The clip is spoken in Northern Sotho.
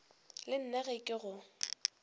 le nna ge ke go